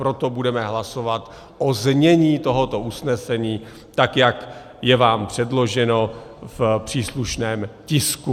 Proto budeme hlasovat o znění tohoto usnesení, tak jak je vám předloženo v příslušném tisku.